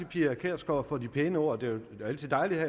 pia kjærsgaard for de pæne ord det er jo altid dejligt at